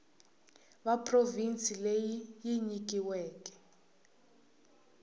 ya provhinsi leyi yi nyikiweke